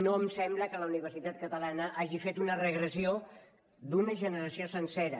no em sembla que la universitat catalana hagi fet una regressió d’una generació sencera